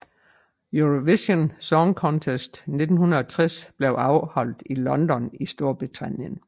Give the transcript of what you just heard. Eurovision Song Contest 1960 blev afholdt i London i Storbritannien